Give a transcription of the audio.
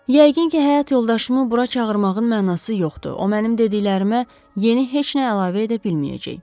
Yəqin ki, həyat yoldaşımı bura çağırmağın mənası yoxdur, o mənim dediklərimə yeni heç nə əlavə edə bilməyəcək.